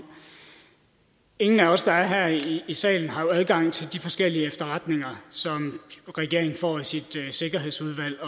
ingen af os der er her i salen har jo adgang til de forskellige efterretninger som regeringen får i sit sikkerhedsudvalg